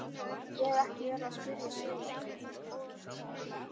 Ég hef ekki verið að spyrja Sif neitt.